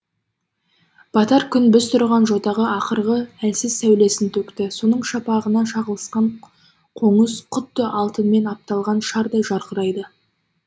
батар күн біз тұрған жотаға ақырғы әлсіз сәулесін төкті соның шапағына шағылысқан қоңыз құдды алтынмен апталған шардай жарқырайды